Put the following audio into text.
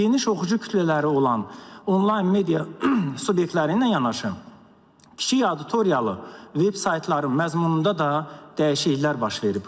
Geniş oxucu kütlələri olan onlayn media subyektləri ilə yanaşı, kiçik auditoriyalı vebsaytların məzmununda da dəyişikliklər baş verib.